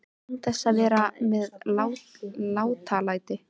Án þess að vera með látalæti.